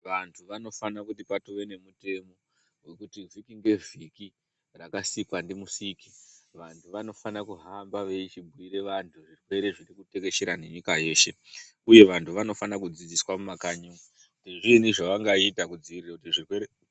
Vantu vanofana kuti patove nemutemo vekuti vhiki ngevhiki rakasikwa ndimusiki. Vantu vanofa kuhamba veichibhuira vantu zvirwere zviri kutekeshera nenyika yeshe, uye vantu vanofana kudzidziswa mumakanyi kuti zviini zvavangaita kudzivirira zvirwere.